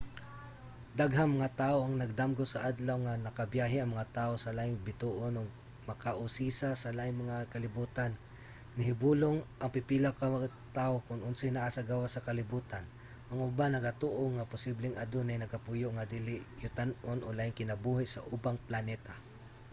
daghang mga tawo ang nagdamgo sa adlaw nga makabiyahe ang mga tawo sa laing bituon ug makausisa sa laing mga kalibutan. nahibulong ang pipila ka tawo kon unsay naa sa gawas sa kalibutan ang uban nagatoo nga posibleng adunay nagapuyo nga dili-yutan-on o laing kinabuhi sa ubang planeta